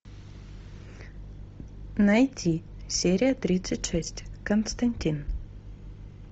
найти серия тридцать шесть константин